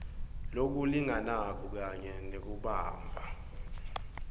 lokulinganako kanye nekubamba